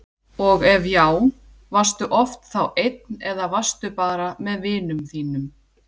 og ef já, varstu oft þá einn eða varstu bara með vinum þínum?